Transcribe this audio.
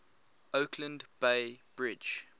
oakland bay bridge